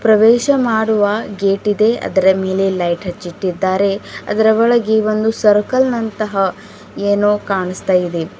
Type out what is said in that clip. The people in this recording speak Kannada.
ಪ್ರವೇಶ ಮಾಡುವ ಗೇಟ್ ಇದೆ ಅದರ ಮೇಲೆ ಲೈಟ್ ಹಚ್ಚಿಟ್ಟಿದ್ದಾರೆ ಅದರ ಒಳಗಿ ಒಂದು ಸರ್ಕಲ್ ನಂತಹ ಏನೋ ಕಾಣಿಸ್ತಾ ಇದೆ.